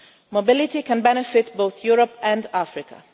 Mobility can benefit both Europe and Africa.